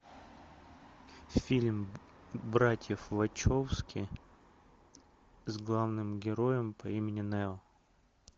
фильм братьев вачовски с главным героем по имени нео